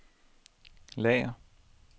lager